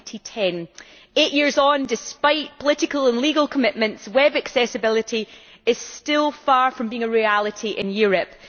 2010. Eight years on, despite political and legal commitments, web accessibility is still far from being a reality in Europe.